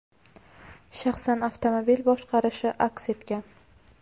shaxsan avtomobil boshqarishi aks etgan.